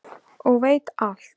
og veit alt.